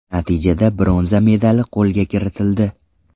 Natijada bronza medali qo‘lga kiritildi.